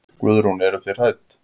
Guðrún: Eruð þið hrædd?